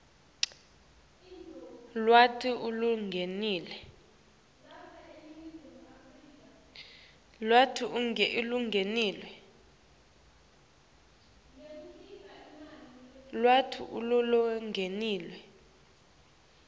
lwati lolulingene